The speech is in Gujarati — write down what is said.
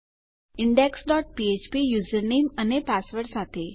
ઇન્ડેક્સ ડોટ ફ્ફ્પ યુઝર નેમ અને પાસવર્ડ સાથે